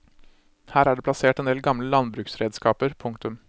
Her er det plassert en del gamle landbruksredskaper. punktum